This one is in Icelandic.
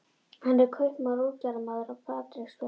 Hann er kaupmaður og útgerðarmaður á Patreksfirði.